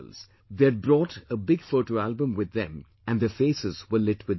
They had brought a big photo album with them and their faces were lit with joy